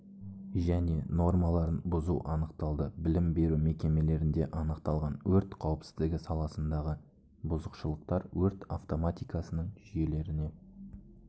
және нормаларын бұзу анықталды білім беру мекемелерінде анықталған өрт қауіпсіздігі саласындағы бұзушылықтар өрт автоматикасының жүйелеріне